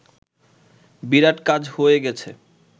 বিরাট কাজ হয়ে গেছে